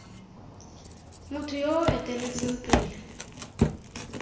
motho yo o eteletseng pele